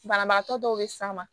Banabagatɔ dɔw bɛ s'a ma